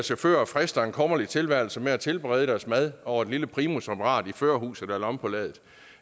chauffører frister en kummerlig tilværelse med at tilberede deres mad over et lille primusapparat i førerhuset eller omme på ladet